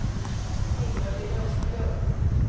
Ingalill Östlund